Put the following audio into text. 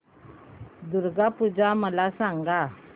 दुर्गा पूजा मला सांग